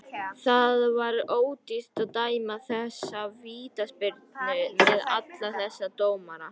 Það var ódýrt að dæma þessa vítaspyrnu með alla þessa dómara.